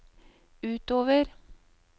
utover